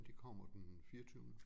De kommer den fireogtyvende